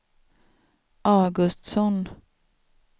Augustsson